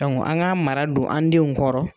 an ga mara don, an denw kɔrɔ